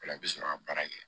O la i bɛ sɔrɔ ka baara kɛ